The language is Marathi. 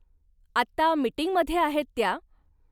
आत्ता मिटिंगमध्ये आहेत त्या.